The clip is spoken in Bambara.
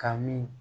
Ka min